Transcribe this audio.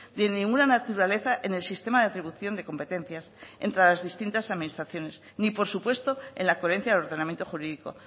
de ninguna naturaleza en el sistema de atribución de competencias entre las distintas administraciones ni por supuesto en la coherencia del ordenamiento jurídico